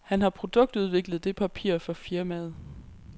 Han har produktudviklet det papir for firmaet.